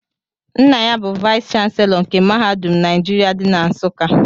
Nna ya bu vayis chansilọ nke mahadum Naijiria dị na Nsuka.